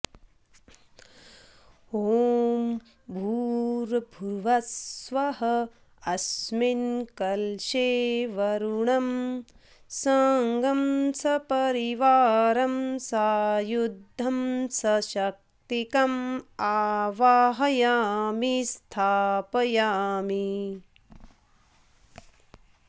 ॐ भूर्भुवः स्वः अस्मिन् कलशे वरुणं साङ्ं सपरिवारं सायुधं सशक्तिकम् आवाहयामि स्थापयामि